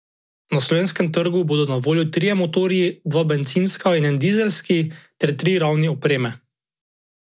Na slovenskem trgu bodo na voljo trije motorji, dva bencinska in en dizelski ter tri ravni opreme.